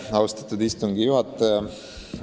Austatud istungi juhataja!